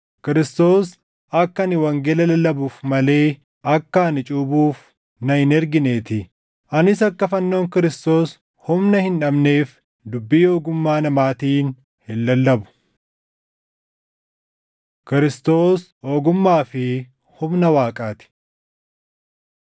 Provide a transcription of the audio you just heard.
Kiristoos akka ani wangeela lallabuuf malee akka ani cuuphuuf na hin ergineetii; anis akka fannoon Kiristoos humna hin dhabneef dubbii ogummaa namaatiin hin lallabu. Kiristoos Ogummaa fi Humna Waaqaa ti